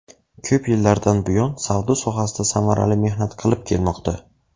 Ko‘p yillardan buyon savdo sohasida samarali mehnat qilib kelmoqda.